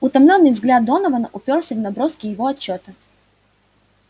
утомлённый взгляд донована упёрся в наброски его отчёта